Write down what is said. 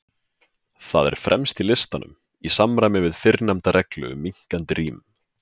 Það er fremst í listanum, í samræmi við fyrrnefnda reglu um minnkandi rím.